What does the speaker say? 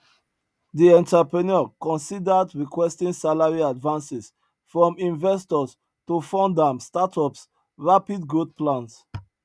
di entrepreneur considered requesting salary advances from investors to fund am startups rapid growth plans